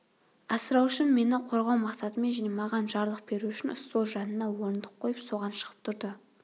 асыраушым мені қорғау мақсатымен және маған жарлық беру үшін стол жанына орындық қойып соған шығып тұрды